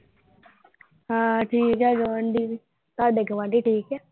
ਹਾਂ ਠੀਕ ਹੈ ਗੁਆਂਢੀ ਵੀ। ਤੁਹਾਡੇ ਗੁਆਂਢੀ ਠੀਕ ਹੈ।